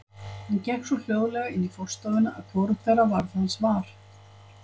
Hann gekk svo hljóðlega inn í forstofuna að hvorugt þeirra varð hans var.